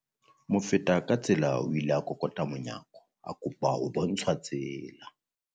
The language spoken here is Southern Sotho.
Mofetakatsela o ile a kokota monyako a kopa ho bontshwa tsela.